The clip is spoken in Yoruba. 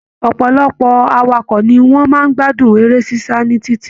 Ọpọlọpọ awakọ̀ ní wọn máa n gbádùn eré sisa ni títí.